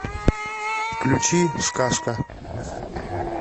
включи сказка